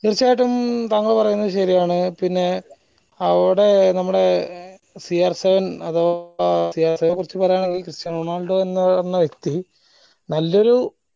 തീർച്ചയായിട്ടും താങ്കള് പറയുന്നത് ശെരിയാണ് പിന്നെ അവ്ടെ നമ്മടെ കുറിച്ച് പറയാനുള്ളത് ക്രിസ്ത്യാനോ റൊണാൾഡോ എന്ന എന്ന് പറഞ്ഞ വ്യക്തീ നല്ലൊരു